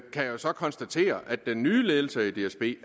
kan jeg så konstatere at den nye ledelse i dsb